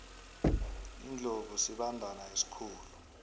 iindlovu sibandana esikhulu